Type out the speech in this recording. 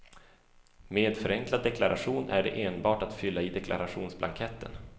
Med förenklad deklaration är det enbart att fylla i deklarationsblanketten.